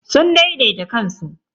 Sun daidaita kansu.